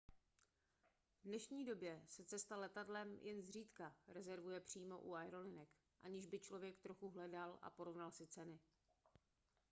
v dnešní době se cesta letadlem jen zřídka rezervuje přímo u aerolinek aniž by člověk trochu hledal a porovnal si ceny